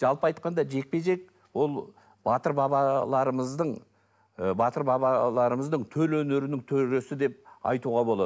жалпы айтқанда жекпе жек ол батыр бабаларымыздың ы батыр бабаларымыздың төл өнерінің төресі деп айтуға болады